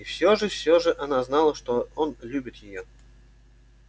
и все же все же она знала что он любит её